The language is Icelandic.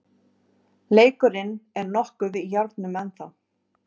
Leikurinn er nokkuð í járnum ennþá